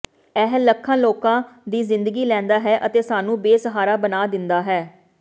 ਇਹ ਲੱਖਾਂ ਲੋਕਾਂ ਦੀ ਜ਼ਿੰਦਗੀ ਲੈਂਦਾ ਹੈ ਅਤੇ ਸਾਨੂੰ ਬੇਸਹਾਰਾ ਬਣਾ ਦਿੰਦਾ ਹੈ